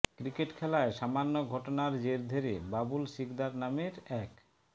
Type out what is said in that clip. cricket খেলায় সামান্য ঘটনার জের ধরে বাবুল শিকদার নামের এক